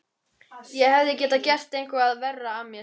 Ég hefði getað gert eitthvað verra af mér.